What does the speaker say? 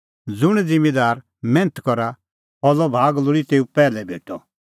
ज़ुंण ज़िम्मींदार मैन्थ करा फल़ो भाग लोल़ी तेऊ पैहलै भेटअ